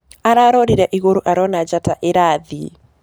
Ararorĩre ĩgũrũ arona njata ĩrathĩe.